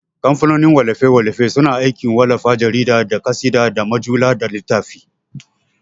Kamfanin wallafe-wallafe suna aikin wallafa jarida, da ƙasida, da mujalla, da littafi.